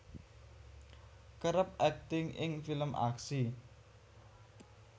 kerep akting ing film aksi